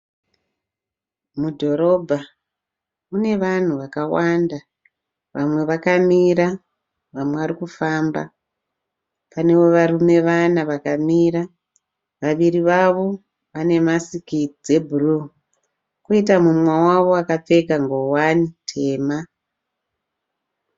Mudhorobha, mune vanhu vakawanda vamwe vakamira, vamwe varikufamba. Pane varume vana vakamira, vaviri vavo vane makisi dze blue. Koita mumwe wavo akapfeka nguwane tema